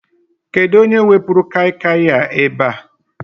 Kedụ onye wepuru Kai Kai a ebe a?